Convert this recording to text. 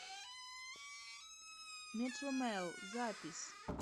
метромэл запись